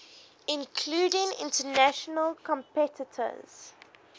including international competitors